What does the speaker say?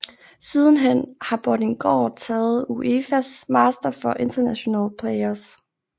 Sidenhen har Bordinggaard taget UEFAs Master for International Players